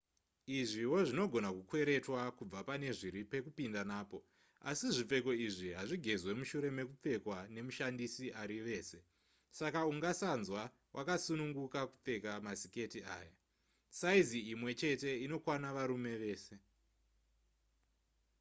izviwo zvinogona kukweretwa kubva pane zviri pekupinda napo asi zvipfeko izvi hazvigezwe mushure mekupfekwa nemushandisi ari vese saka ungasanzwa wakasununguka kupfeka masiketi aya saizi imwe chete inokwana varume vese